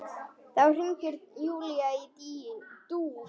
Þá hringir Júlía í Dúu.